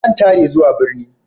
Zan tare zuwa birni.